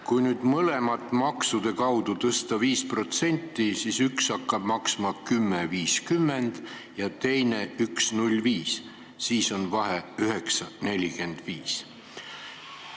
Kui nüüd mõlemat maksude kaudu tõsta 5%, siis üks hakkab maksma 10.50 ja teine 1.05 ning vahe on 9.45.